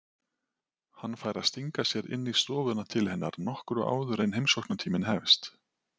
Hann fær að stinga sér inn í stofuna til hennar nokkru áður en heimsóknartíminn hefst.